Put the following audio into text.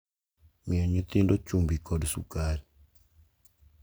Miyo nyithindo chumbi kod sukari.